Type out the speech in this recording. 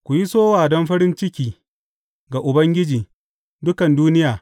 Ku yi sowa don farin ciki ga Ubangiji, dukan duniya.